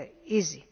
easy.